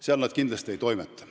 Seal nad kindlasti ei toimeta.